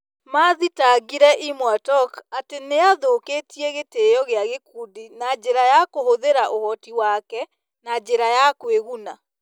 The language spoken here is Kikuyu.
Mathitangĩire Imwatok atĩ "nĩ athũkĩtie gĩtĩĩo kĩa gĩkundi na njĩra ya kũhũthĩra ũhoti wake na njĩra ya kũĩguna".